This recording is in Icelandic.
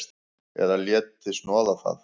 Eða léti snoða það.